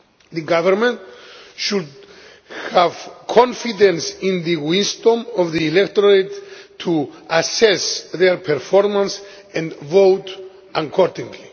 The government should have confidence in the wisdom of the electorate to assess their performance and vote accordingly.